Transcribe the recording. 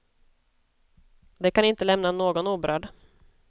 Det kan inte lämna någon oberörd.